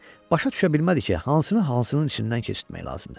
Başa düşə bilmirdi ki, hansını hansının içindən keçirtmək lazımdır.